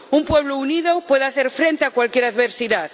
Un pueblo unido puede hacer frente a cualquier adversidad.